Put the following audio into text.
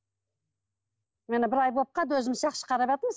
енді бір ай болып қалды өзіміз жақсы қарап жатырмыз